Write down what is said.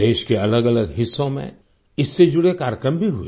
देश के अलगअलग हिस्सों में इससे जुड़े कार्यक्रम भी हुए